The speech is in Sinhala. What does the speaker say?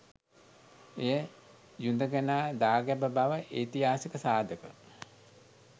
එය යුදඟනා දාගැබ බව ඓතිහාසික සාධක